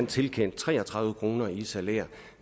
tilkendt tre og tredive kroner i salær